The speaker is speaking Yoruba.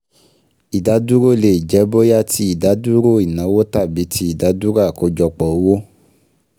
Ìdádúró lè jẹ́ bóyá ti ìdádúró ìnáwó tàbí ti ìdádúró àkọ́jọpọ̀ owó